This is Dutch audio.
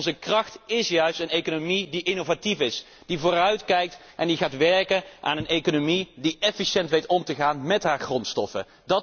En onze kracht is juist een economie die innovatief is, die vooruitkijkt en die gaat werken aan een economie die efficiënt weet om te gaan met haar grondstoffen.